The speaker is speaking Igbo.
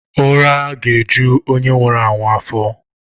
Ura ga-eju onye nwuru anwu afo.